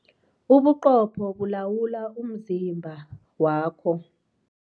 Ubuqopho bulawula umzimba wakho.